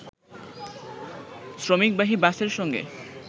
শ্রমিকবাহী বাসের সঙ্গে